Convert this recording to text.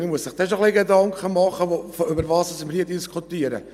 Man muss sich dann schon ein wenig Gedanken über das machen, was wir hier diskutieren.